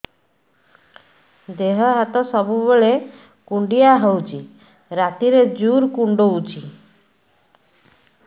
ଦେହ ହାତ ସବୁବେଳେ କୁଣ୍ଡିଆ ହଉଚି ରାତିରେ ଜୁର୍ କୁଣ୍ଡଉଚି